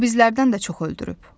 O bizlərdən də çox öldürüb.